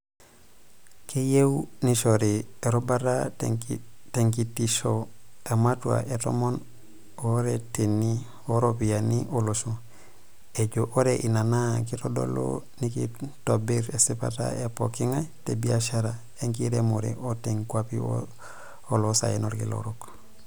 Keyieu neishori erubata tenkitisho ematua e tomon ooreteni ooropiyiani olosho, ejoo oree ina naa keitodolu, naakeitobir esipata e pookingay te biashara e nkiremore too nkuapi oloosaen olkila orok.